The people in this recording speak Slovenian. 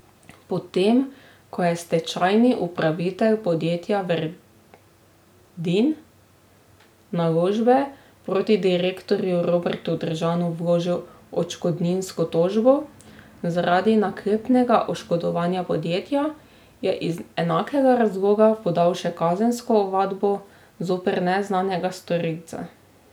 Potem ko je stečajni upravitelj podjetja Verdin Naložbe proti direktorju Robertu Držanu vložil odškodninsko tožbo zaradi naklepnega oškodovanja podjetja, je iz enakega razloga podal še kazensko ovadbo zoper neznanega storilca.